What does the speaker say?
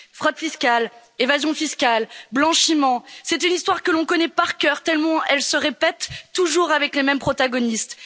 Fraude fiscale, évasion fiscale, blanchiment, c'est une histoire que l'on connaît par cœur, tellement elle se répète, toujours avec les mêmes protagonistes.